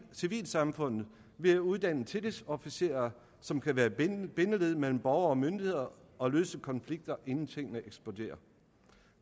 civilsamfundet ved at uddanne tillidsofficerer som kan være bindeled mellem borgere og myndigheder og løse konflikter inden tingene eksploderer